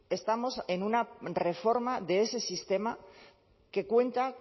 estamos en una reforma de ese sistema que cuenta